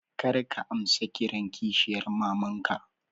Kar ka amsa kiran kishiyar mamanka